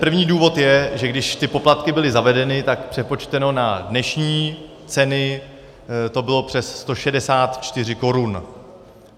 První důvod je, že když ty poplatky byly zavedeny, tak přepočteno na dnešní ceny to bylo přes 164 korun.